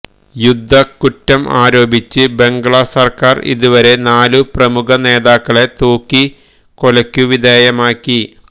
യുദ്ധക്കുറ്റം ആരോപിച്ച് ബംഗ്ളാ സര്ക്കാര് ഇതുവരെ നാലു പ്രമുഖ നേതാക്കളെ തൂക്കിക്കൊലക്കു വിധേയമാക്കി